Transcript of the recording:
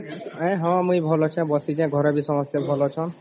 ଇଂ ହଁ ମୁଇ ଭଲ ଅଛେ ବସିଚେ ଘରେ ବି ସମସ୍ତେ ଭଲ ଅଛନ